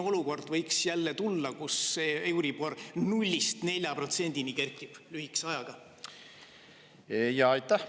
Millal võiks jälle tulla selline olukord, kus euribor kerkib lühikese ajaga 0‑st 4%-ni?